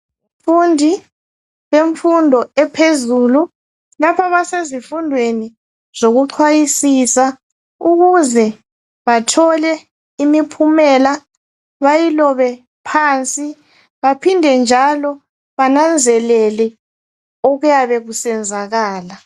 Abafundi bemfundo ephezulu. Lapha basezifundweni zokuchwayisisa ukuze bathole imiphumela ,bayilobe phansi baphinde njalo bananzelele okuyabe kusenzakala.